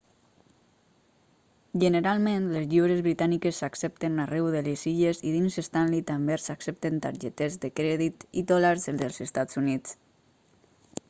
generalment les lliures britàniques s'accepten arreu de les illes i dins stanley també s'accepten targetes de crèdit i dòlars dels estats units